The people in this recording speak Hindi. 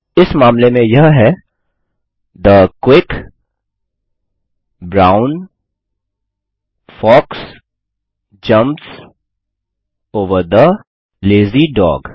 इस मामले में यह है the quick brown fox jumps over the lazy dog